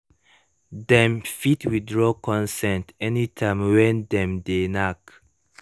dem fit withdraw consent anytime when dem de knack